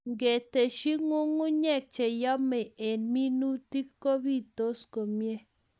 Ngi teshi ng'ungunyek che yemei eng' minutik kopitos komie